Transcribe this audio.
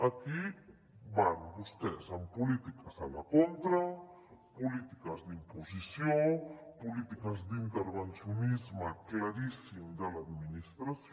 aquí van vostès amb polítiques a la contra polítiques d’imposició polítiques d’intervencionisme claríssim de l’administració